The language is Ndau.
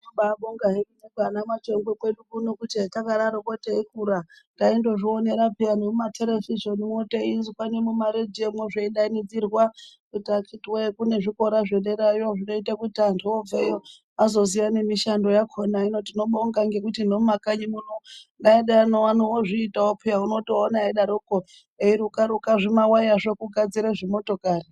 Tinobaabonga hedu nekwaMachongwe kwedu kuti hetakangodarokwo teikura taindozvionera peya nemumaterevhizheni teizwa nemumaredhio mwo zveidainidzirwa kuti akhithi woyee kune zvikora zvedera yo zvinoita kuti kana antu obveyo azoziya nemishando yakhona. Hino tinobonga nekuti nemumakanyi muno neana edu ano ozviitawo peyaa. Unotoona eidarokwo eiruka ruka zvimawaya zvoo kugadzira zvimotokari